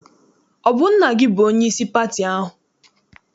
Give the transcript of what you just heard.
Ọ bụ nna gị bụ onyeisi pati ahụ?